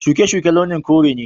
Shuke-shuke launin kore ne.